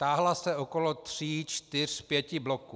Táhla se okolo tří, čtyř, pěti bloků.